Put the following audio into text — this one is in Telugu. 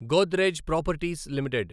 Godrej properties limited